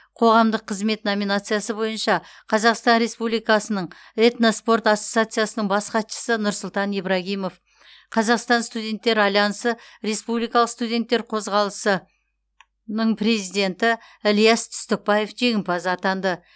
қоғамдық қызмет номинациясы бойынша қазақстан республикасының этноспорт ассоциациясының бас хатшысы нұрсұлтан ибрагимов қазақстан студенттер альянсы республикалық студенттер қозғалысының президенті ілияс түстікбаев жеңімпаз атанды